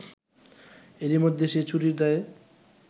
এরইমধ্যে সে চুরির দায়ে